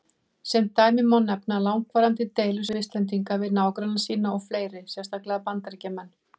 Sem dæmi má nefna langvarandi deilur Svisslendinga við nágranna sína og fleiri, sérstaklega Bandaríkjamenn.